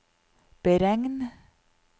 beregn